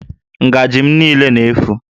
Ngajị m niile na-éfù